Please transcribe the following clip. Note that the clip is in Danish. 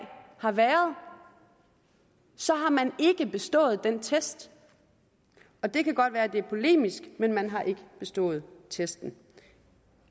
har været så har man ikke bestået den test det kan godt være det er polemisk men man har ikke bestået testen